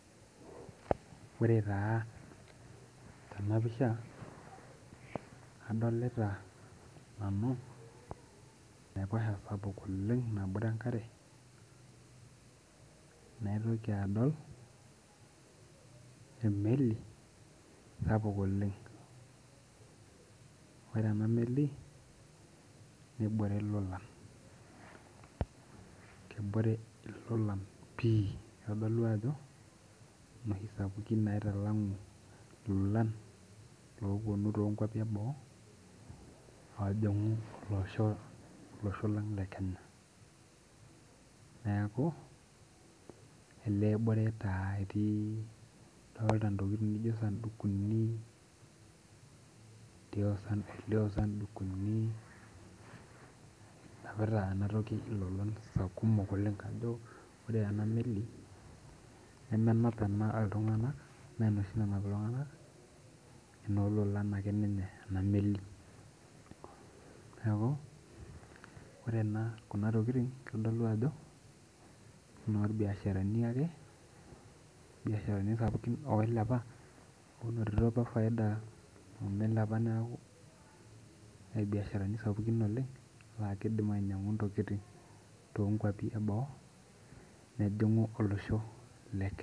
Ore taa tena pisha adolita nanu enaiposha sapuk oleng nabore enkare naitoki adol emeli sapuk oleng ore ena meli nebore ilolan kebore ilolan pii kitodolu ajo inoshi sapukin naitalang'u ilolan loponu tonkuapi eboo ojing'u olosho olosho lang le kenya neeku elee ebore taa etii dolta intokiting nijio isandukuni elio isandukuni enapita enatoki ilolan sa kumok oleng kajo ore ena meli nemenap ena iltung'anak mee enoshi nanap iltung'anak enoololan akeninye ena meli niaku ore ena kuna tokiting kitodolu ajo enoorbiasharani ake enorbiasharani sapukin oilepa onotito apa faida omilepa neeku irbiasharani sapukin oleng laa kidim ainyiang'u intokiting tonkuapi eboo nejing'u olosho le kenya.